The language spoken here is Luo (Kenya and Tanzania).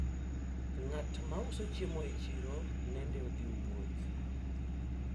mwenye anauza vyakula sokoni alisafiri